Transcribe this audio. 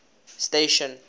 station